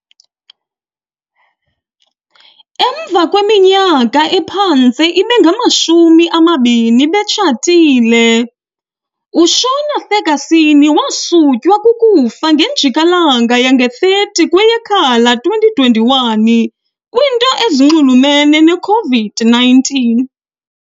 Emva kweminyaka ephantse ibe ngama-shumi amabini betshatile, uShona Ferguson wasutywa kukufa ngenjikalanga yange ye-30 kweyeKhala 2021 kwinto ezinxulumene ne -COVID-19 .